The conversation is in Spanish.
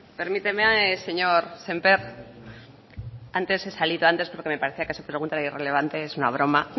permíteme señor sémper antes he salido antes porque me parecía que su pregunta era irrelevante es una broma